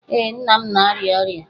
Ee, m na-arịa ọrịa